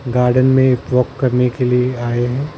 Garden में walk करने के लिए आए हैं ।